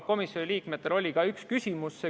Komisjoni liikmetel oli ka üks küsimus.